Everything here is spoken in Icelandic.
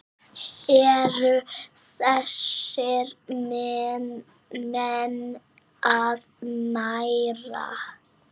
Eru þessir menn að mæta?